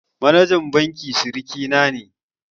Manajan bankin siriki na ne